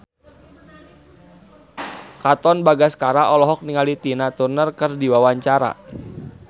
Katon Bagaskara olohok ningali Tina Turner keur diwawancara